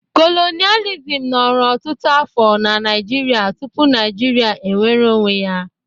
Kolonịalizim nọrọ ọtụtụ afọ na Naịjirịa tupu Naịjirịa enwere onwe ya.